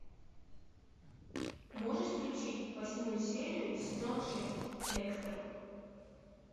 можешь включить восьмую серию сезона шесть декстер